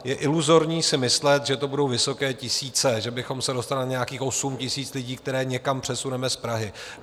Je iluzorní si myslet, že to budou vysoké tisíce, že bychom se dostali na nějakých 8 000 lidí, které někam přesuneme z Prahy.